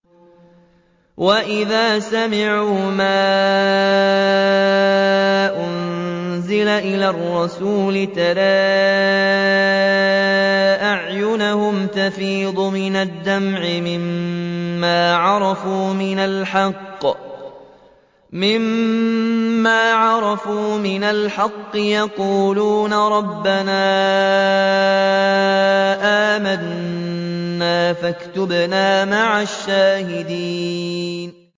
وَإِذَا سَمِعُوا مَا أُنزِلَ إِلَى الرَّسُولِ تَرَىٰ أَعْيُنَهُمْ تَفِيضُ مِنَ الدَّمْعِ مِمَّا عَرَفُوا مِنَ الْحَقِّ ۖ يَقُولُونَ رَبَّنَا آمَنَّا فَاكْتُبْنَا مَعَ الشَّاهِدِينَ